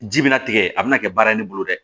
Ji bɛna tigɛ a bɛna kɛ baara ye ne bolo dɛ